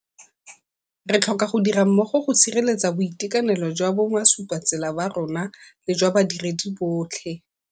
Re tlhoka go dira mmogo go sireletsa boitekanelo jwa bomasupatsela ba rona le jwa badiredi botlhe.